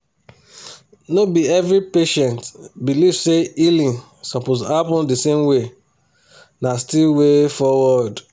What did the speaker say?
no be every patient believe say healing suppose happen the same way na still way foward